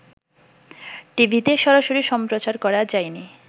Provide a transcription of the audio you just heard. টিভিতে সরাসরি সম্প্রচার করা যায়নি